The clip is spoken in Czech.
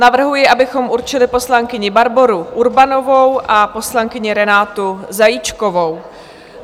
Navrhuji, abychom určili poslankyni Barboru Urbanovou a poslankyni Renátu Zajíčkovou.